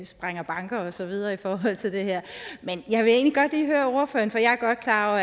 sprænger banken og så videre i forhold til det her jeg er godt klar